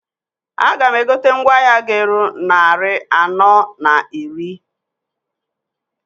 A ga m egote mgwa ahịa g'eru nnarị anọọ na iri.